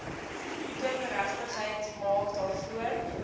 kindergeregtigheid maak daarvoor